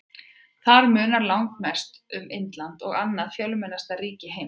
Þar munar langmest um Indland, annað fjölmennasta ríki heims.